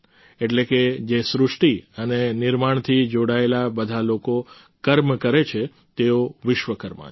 એટલે કે જે સૃષ્ટિ અને નિર્માણથી જોડાયેલા બધા લોકો કર્મ કરે છે તેઓ વિશ્વકર્મા છે